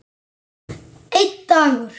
Einn dagur!